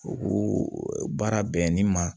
U baara bɛnni ma